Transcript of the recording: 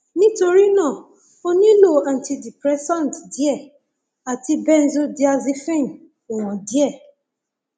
nítorí náà ó nílò antidepressant díẹ àti benzodiazepine ìwọn díẹ